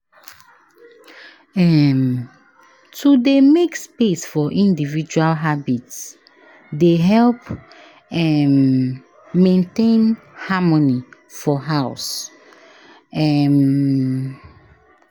um To dey make space for individual habits dey help um maintain harmony for house. um